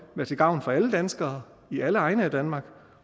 være til gavn for alle danskere i alle egne af danmark